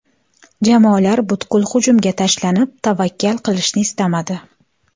Jamoalar butkul hujumga tashlanib, tavakkal qilishni istamadi.